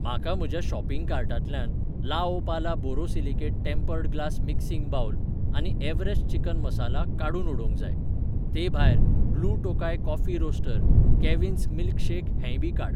म्हाका म्हज्या शॉपिंग कार्टांतल्यान Laopala borosilicate tempered glass mixing bowl आनी एव्हरेस्ट चिकन मसाला काडून उडोवंक जाय. ते भायर, blue Tokai coffee roaster, Cavin's मिल्शेकक हेंयबी काड.